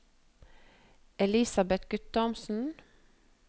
Elisabet Guttormsen